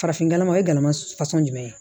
Farafin jama o ye gɛlɛma fasugu jumɛn ye